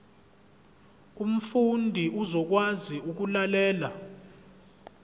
umfundi uzokwazi ukulalela